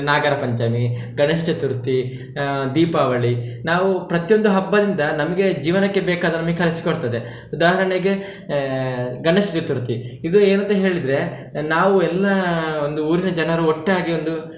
ನಾಗರಪಂಚಮಿ, ಗಣೇಶ ಚತುರ್ಥಿ, ಆಹ್ ದೀಪಾವಳಿ ನಾವು ಪ್ರತಿಯೊಂದು ಹಬ್ಬದಿಂದ ನಮಿಗೆ ಜೀವನಕ್ಕೆ ಬೇಕಾದ ನಮಿಗೆ ಕಲಿಸಿಕೊಡ್ತದೆ, ಉದಾಹರಣೆಗೆ ಆಹ್ ಗಣೇಶ ಚತುರ್ಥಿ ಇದು ಏನಂತ ಹೇಳಿದ್ರೆ ನಾವು ಎಲ್ಲಾ ಒಂದು ಊರಿನ ಜನರು ಒಟ್ಟಾಗಿ ಒಂದು.